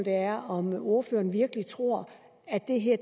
er om ordføreren virkelig tror at det her